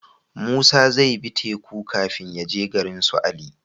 Musa zai bi teku kafin yaje garinsu ali